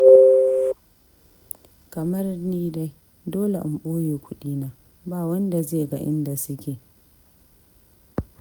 Kamar ni dai, dole in ɓoye kuɗina, ba wanda zai ga inda suke.